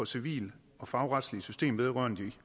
civile og fagretslige system vedrørende de